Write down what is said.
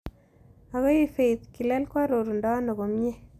Ago ii faith kilel koarorundo ano komie